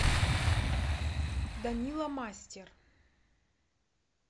данила мастер